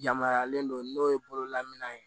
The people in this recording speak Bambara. Yamaruyalen don n'o ye bololaminɛn ye